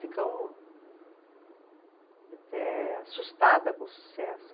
Ficou até assustada com o sucesso.